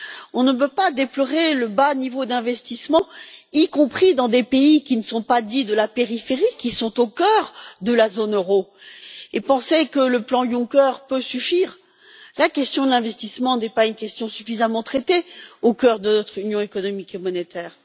On ne peut pas déplorer le bas niveau d'investissement, y compris dans des pays qui ne sont pas dits de la périphérie, qui sont au cœur de la zone euro et penser que le plan Juncker peut suffire. La question de l'investissement n'est pas suffisamment traitée au cœur de notre Union économique et monétaire.